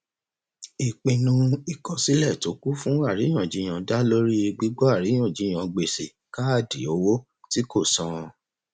ìpinnu ìkọsílẹ tó kún fún àríyànjiyàn dá lórí gbígbọ àríyànjiyàn gbèsè káàdì owó tí kò san